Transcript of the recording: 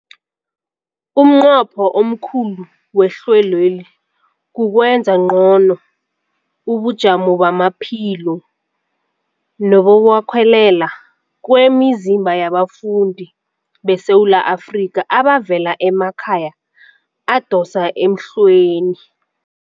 Umnqopho omkhulu wehlelweli kukwenza ngcono ubujamo bamaphilo nebokwakhela kwemizimba yabafundi beSewula Afrika abavela emakhaya adosa emhlweni.